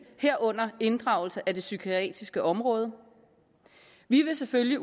herunder inddragelse af det psykiatriske område vi vil selvfølgelig